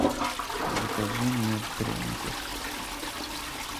закажи мне пряников